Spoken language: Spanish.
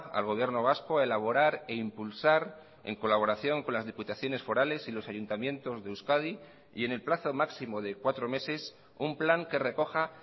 al gobierno vasco a elaborar e impulsar en colaboración con las diputaciones forales y los ayuntamientos de euskadi y en el plazo máximo de cuatro meses un plan que recoja